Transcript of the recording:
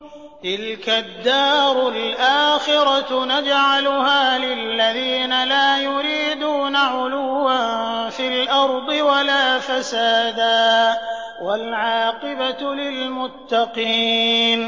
تِلْكَ الدَّارُ الْآخِرَةُ نَجْعَلُهَا لِلَّذِينَ لَا يُرِيدُونَ عُلُوًّا فِي الْأَرْضِ وَلَا فَسَادًا ۚ وَالْعَاقِبَةُ لِلْمُتَّقِينَ